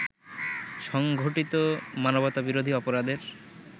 সংঘটিত মানবতাবিরোধী অপরাধের